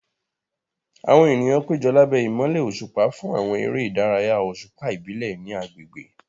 Àwọn ènìyàn péjọ lábẹ́ ìmọ́lẹ̀ òṣùpá fún àwọn eré ìdárayá òṣùpá ìbílẹ̀ ní agbègbè.